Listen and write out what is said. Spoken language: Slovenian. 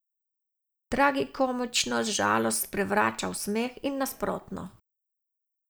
Tragikomičnost žalost sprevrača v smeh in nasprotno.